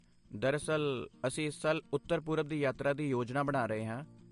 ਦਰਅਸਲ, ਅਸੀਂ ਇਸ ਸਾਲ ਉੱਤਰ ਪੂਰਬ ਦੀ ਯਾਤਰਾ ਦੀ ਯੋਜਨਾ ਬਣਾ ਰਹੇ ਹਾਂ